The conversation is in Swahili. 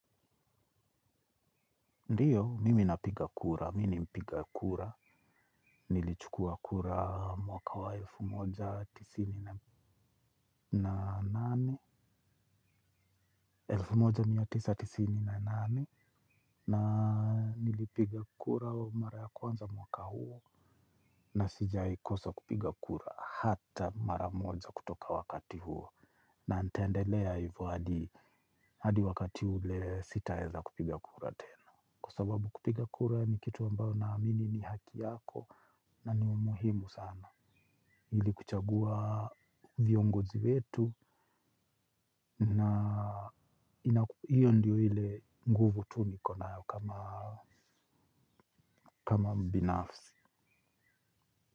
Ndiyo, mimi napiga kura, mini mpiga kura, nilichukua kura mwaka wa elfu moja tisini elfu moja mia tisa tisini na nane na nilipiga kura wa mara kwanza mwaka huo, na sijaikosa kupiga kura hata mara moja kutoka wakati huo, na nitendelea hivo hadi hadi wakati hule sita eza kupiga kura tena. Kwa sababu kupiga kura ni kitu ambayo naamini ni haki yako na ni umuhimu sana. Hili kuchagua viongozi wetu. Na hiyo ndiyo ile nguvu tu ni konayo kama mbinafsi.